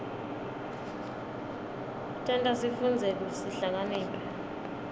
tenta sifundze sihlakaniphe